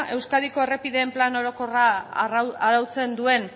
euskadiko errepideen plan orokorra arautzen duen